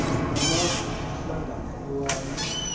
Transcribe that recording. amafu ahlangana ewayi